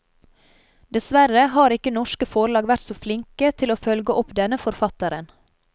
Dessverre har ikke norske forlag vært så flinke til å følge opp denne forfatteren.